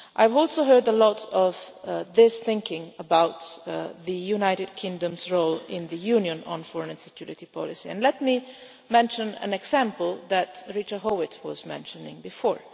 I have also heard a lot of this thinking about the United Kingdom's role in the Union on foreign and security policy, and let me mention an example that Richard Howitt mentioned before.